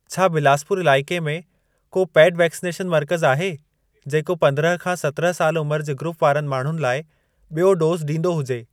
छा बिलासपुर इलाइके में को पेड वैक्सनेशन मर्कज़ आहे, जेको पंद्रहं खां सतिरहं साल उमर जे ग्रूप वारनि माण्हुनि लाइ बि॒यों डोज़ ॾींदो हुजे?